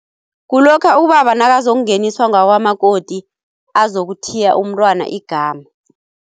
Kulokha ubaba nakazokungeniswa ngakwamakoti azokuthiya umntwana igama.